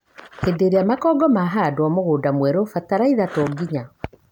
Hĩndi ĩrĩa makongo mahandwo mũgũnda mwerũ, bataraitha tonginya,